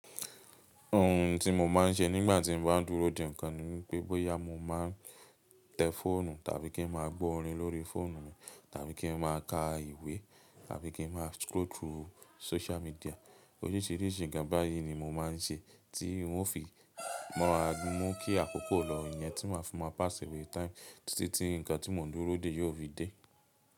Ohun tí mo máa ń ṣe nígbà tí mo bá dúró dè ńkan ni pé bọ́yá mó máa tẹ fóònù tàbí kí n máa gbọ́ orin lórí fóònù mi tàbí kí n máa ka ìwé tàbí kí n máa scroll through social media. Orísirísi gàba yi ni mo máa ń ṣe tí wọ́n fi mọ́ra mú kí àkókò lọ yẹn tí máa fún mó pass away time títí nǹkan tí mo ń dúró dè yóò fi dé.